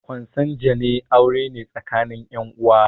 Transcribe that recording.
Konsanguine aure ne tsakanin ƴan uwa